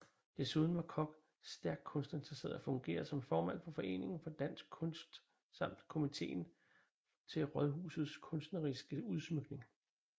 Desuden var Koch stærkt kunstinteresseret og fungerede som formand for Foreningen for Dansk Kunst samt Komiteen til Raadhusets kunstneriske Udsmykning